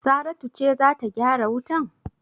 Saratu ce za ta gyara wutan?